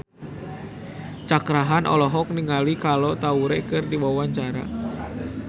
Cakra Khan olohok ningali Kolo Taure keur diwawancara